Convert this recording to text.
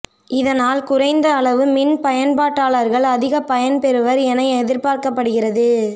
இதனால் குறைந்த அளவு மின் பயன்பாட்டாளர்கள் அதிக பயன் பெறுவர் என எதிர்பார்க்கப்படுகிறது